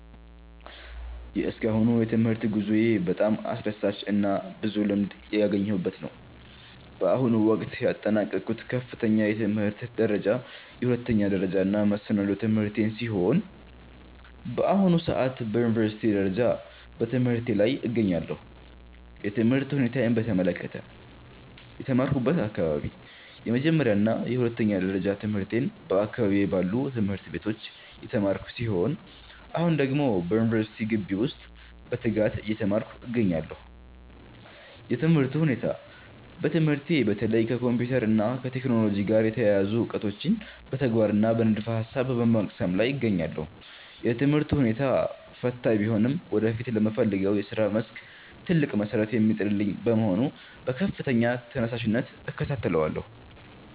የእስካሁኑ የትምህርት ጉዞዬ በጣም አስደሳችና ብዙ ልምድ ያገኘሁበት ነው። በአሁኑ ወቅት ያጠናቀቅኩት ከፍተኛ የትምህርት ደረጃ የሁለተኛ ደረጃና መሰናዶ ትምህርቴን ሲሆን፣ በአሁኑ ሰዓት በዩኒቨርሲቲ ደረጃ በትምህርቴ ላይ እገኛለሁ። የትምህርት ሁኔታዬን በተመለከተ፦ የተማርኩበት አካባቢ፦ የመጀመሪያና የሁለተኛ ደረጃ ትምህርቴን በአካባቢዬ ባሉ ትምህርት ቤቶች የተማርኩ ሲሆን፣ አሁን ደግሞ በዩኒቨርሲቲ ግቢ ውስጥ በትጋት እየተማርኩ እገኛለሁ። የትምህርቱ ሁኔታ፦ በትምህርቴ በተለይ ከኮምፒውተር እና ከቴክኖሎጂ ጋር የተያያዙ እውቀቶችን በተግባርና በንድፈ-ሐሳብ በመቅሰም ላይ እገኛለሁ። የትምህርቱ ሁኔታ ፈታኝ ቢሆንም ወደፊት ለምፈልገው የሥራ መስክ ትልቅ መሠረት የሚጥልልኝ በመሆኑ በከፍተኛ ተነሳሽነት እከታተለዋለሁ።